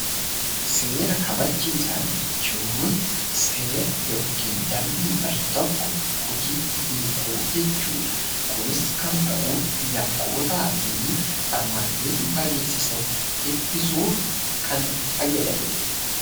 Seera kabachiisaa jechuun seera (dambii) bahe tokko hojiitti hiikuu jechuu dha. Kunis kan ta'u yakkootaa fi barmaatilee dhiibbaa geessisan ittisuuf kan fayyadani dha.